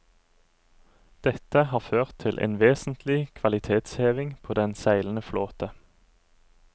Dette har ført til en vesentlig kvalitetshevning på den seilende flåte.